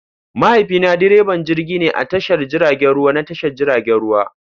Mahaifina direban jirgi ne a tashar jiragen ruwa na tashar jiragen ruwa.